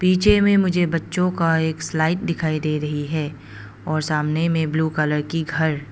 पीछे में मुझे बच्चों का एक स्लाइड दिखाई दे रही है और सामने में ब्लू कलर की घर।